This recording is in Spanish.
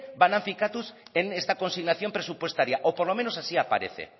van a finkatuz en esta consignación presupuestaria o por lo menos así aparece